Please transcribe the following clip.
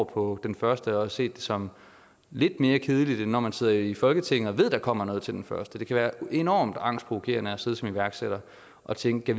på den første og set det som lidt mere kedeligt end når man sidder i folketinget og ved at der kommer noget til den første det kan være enormt angstprovokerende at sidde som iværksætter og tænke